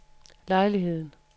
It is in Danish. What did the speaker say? lejligheden